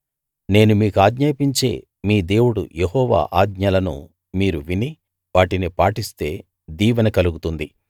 నేను మీకాజ్ఞాపించే మీ దేవుడు యెహోవా ఆజ్ఞలను మీరు విని వాటిని పాటిస్తే దీవెన కలుగుతుంది